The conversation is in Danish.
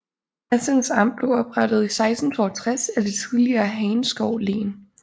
Assens Amt blev oprettet i 1662 af det tidligere Hagenskov Len